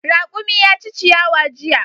Raƙumi ya ci ciyawa jiya.